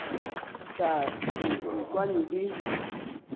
tla re o kwane le